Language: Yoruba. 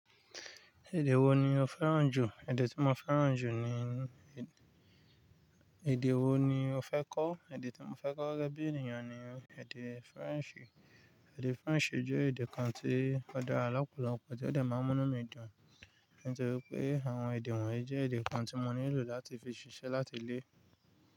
Èdè wo ni o fẹ́ràn jù? Èdè tí mo fẹ́ràn jù ni. Èdè wo ni o fẹ́ kọ́? Èdè tí mo fẹ́ kọ́ gẹ́gẹ́ bí ènìyàn ni èdè French. Èdè French jẹ́ èdè kan tí ọ̀ dáa lọpọlọpọ, tí ó dé máa ń múnú mi dùn, nítorí pé àwọn èdè wọ̀nyí jẹ́ èdè kan tí mo nílò láti fi ṣiṣẹ́ láti lé.